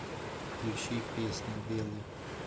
включи песня белый